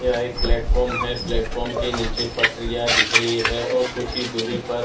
या एक प्लेटफार्म हैं प्लेटफार्म के नीचे पटरियाँ दिख रही हैं और कुछ ही दूरी पर --